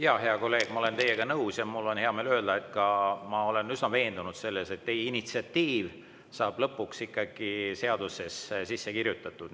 Jaa, hea kolleeg, ma olen teiega nõus ja mul on hea meel öelda, et ma olen üsna veendunud selles, et teie initsiatiiv saab lõpuks ka seadusesse sisse kirjutatud.